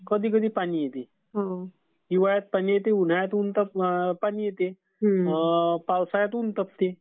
कधीकधी पाणी येते. हिवाळ्यात पाणी येते उन्हाळयात पाणी येते. पावसाळ्यात ऊन तापते.